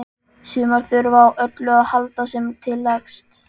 Sumar þurfa á öllu að halda sem til leggst.